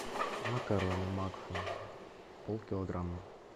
макароны макфа пол килограмма